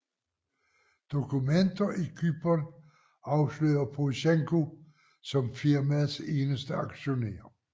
Dokumenter i Cypern afslører Porosjenko som firmaets eneste aktionær